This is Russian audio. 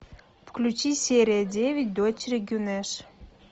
включи серия девять дочери гюнеш